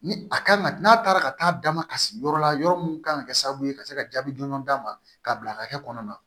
Ni a kan ka n'a taara ka taa damakasi yɔrɔ la yɔrɔ min kan ka kɛ sababu ye ka se ka jaabi dɔn d'a ma k'a bila hakɛ kɔnɔna na